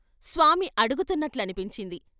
స్వామి అడుగుతున్నట్లని పించింది.